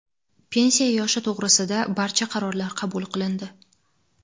Pensiya yoshi to‘g‘risida] barcha qarorlar qabul qilindi.